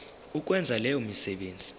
ukwenza leyo misebenzi